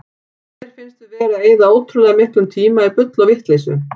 Mér finnst við vera að eyða ótrúlega miklum tíma í bull og vitleysu.